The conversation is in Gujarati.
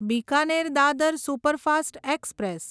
Bikaner Dadar superfast express